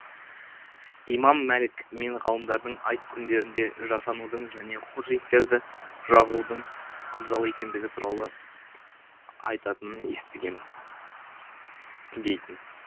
имам мәлик мен ғалымдардың айт күндерінде жасанудың және хош иістерді жағудың абзал екендігі туралы айтатынын естігенмін дейтін